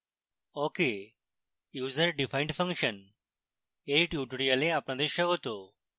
awk এ userdefined function এর tutorial আপনাদের স্বাগত